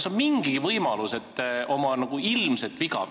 Kas on mingigi võimalus, et te oma ilmselget viga tunnistate?